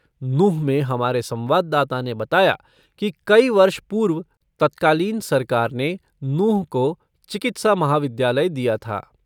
नूंह में हमारे संवाददाता ने बताया कि कई वर्ष पूर्व तात्कालिन सरकार ने नूंह को चिकित्सा महाविद्यालय दिया थ।